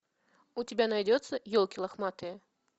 у тебя найдется елки лохматые